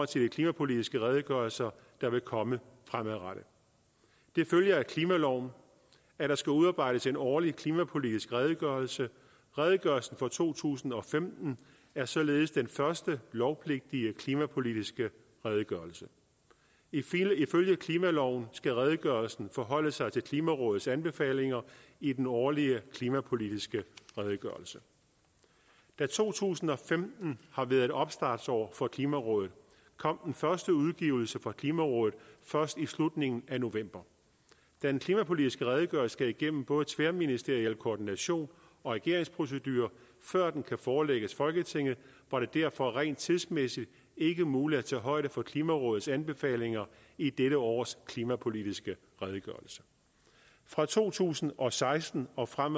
til de klimapolitiske redegørelser der vil komme fremadrettet det følger af klimaloven at der skal udarbejdes en årlig klimapolitisk redegørelse redegørelsen for to tusind og femten er således den første lovpligtige klimapolitiske redegørelse ifølge klimaloven skal redegørelsen forholde sig til klimarådets anbefalinger i den årlige klimapolitiske redegørelse da to tusind og femten har været et opstartsår for klimarådet kom første udgivelse fra klimarådet først i slutningen af november da den klimapolitiske redegørelse skal igennem både tværministeriel koordination og regeringsprocedurer før den kan forelægges folketinget var det derfor rent tidsmæssigt ikke muligt at tage højde for klimarådets anbefalinger i dette års klimapolitiske redegørelse fra to tusind og seksten og frem